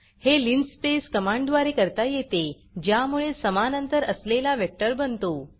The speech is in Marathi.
हे linspaceलीनस्पेस कमांडद्वारे करता येते ज्यामुळे समान अंतर असलेला वेक्टर बनतो